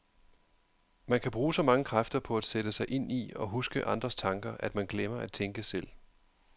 Man kan bruge så mange kræfter på at sætte sig ind i og huske andres tanker, at man glemmer at tænke selv.